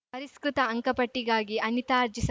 ಪರಿಷ್ಕೃತ ಅಂಕಪಟ್ಟಿಗಾಗಿ ಅನಿತಾ ಅರ್ಜಿ ಸ